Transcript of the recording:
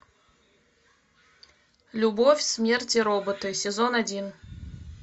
любовь смерть и роботы сезон один